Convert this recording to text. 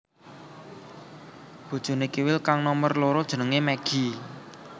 Bojoné Kiwil kang nomer loro jenengé Meggi